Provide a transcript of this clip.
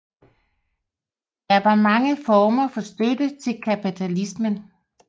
Der var mange former for støtte til kapitalismen